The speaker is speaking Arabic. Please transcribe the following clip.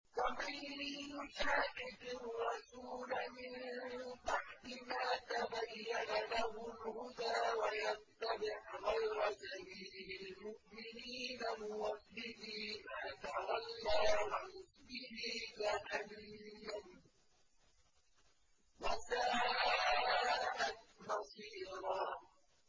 وَمَن يُشَاقِقِ الرَّسُولَ مِن بَعْدِ مَا تَبَيَّنَ لَهُ الْهُدَىٰ وَيَتَّبِعْ غَيْرَ سَبِيلِ الْمُؤْمِنِينَ نُوَلِّهِ مَا تَوَلَّىٰ وَنُصْلِهِ جَهَنَّمَ ۖ وَسَاءَتْ مَصِيرًا